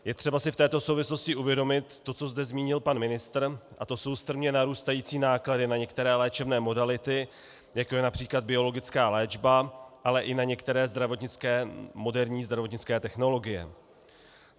Je třeba si v této souvislosti uvědomit to, co zde zmínil pan ministr, a to jsou strmě narůstající náklady na některé léčebné modality, jako je například biologická léčba, ale i na některé moderní zdravotnické technologie.